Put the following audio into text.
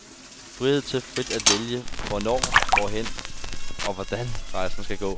Frihed til frit at vælge hvornår, hvordan og hvorhen rejsen skal gå.